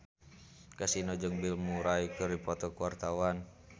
Kasino jeung Bill Murray keur dipoto ku wartawan